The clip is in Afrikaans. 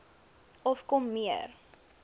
of kom meer